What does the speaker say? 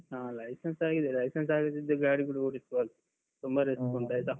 ಹಾ license ಆಗಿದೆ. license ಆಗದಿದ್ರೆ ಗಾಡಿ ಕೂಡ ಓಡಿಸಬಾರ್ದು. ತುಂಬಾ risk ಉಂಟು ಆಯ್ತಾ.